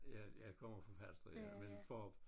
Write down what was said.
Ja jeg kommer fra Falster ja men for